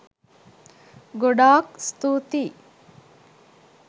ගොඩාක් ස්තුතියි